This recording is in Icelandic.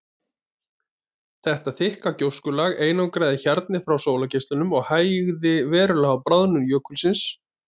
Þetta þykka gjóskulag einangraði hjarnið frá sólargeislunum og hægði verulega á bráðnun jökulsins.